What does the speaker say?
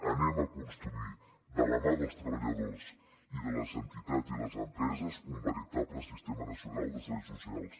anem a construir de la mà dels treballadors i de les entitats i les empreses un veritable sistema nacional de serveis socials